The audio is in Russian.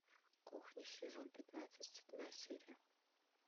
кухня сезон пятнадцать седьмая серия